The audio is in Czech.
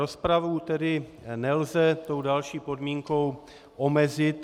Rozpravu tedy nelze tou další podmínkou omezit.